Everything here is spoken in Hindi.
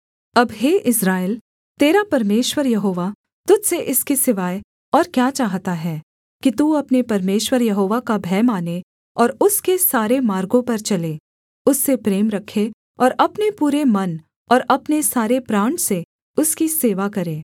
अब हे इस्राएल तेरा परमेश्वर यहोवा तुझ से इसके सिवाय और क्या चाहता है कि तू अपने परमेश्वर यहोवा का भय मानें और उसके सारे मार्गों पर चले उससे प्रेम रखे और अपने पूरे मन और अपने सारे प्राण से उसकी सेवा करे